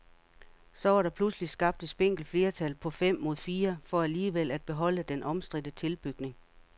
Så var der pludselig skabt et spinkelt flertal på fem mod fire for alligevel at beholde den omstridte tilbygning.